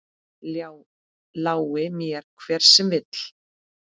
Lái mér, hver sem vill.